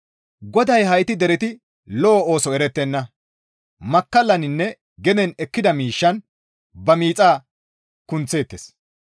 GODAY, «Hayti dereti lo7o ooso erettenna. Makkallaninne genen ekkida miishshan ba miixa kunththeettes.